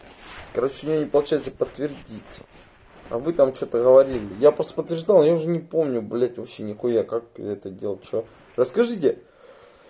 короче у меня не получается подтвердить а вы там что-то говорили я просто подтверждал я уже не помню блять вообще нехуя как это делал что расскажете